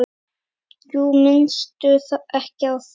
Jú, minnstu ekki á það.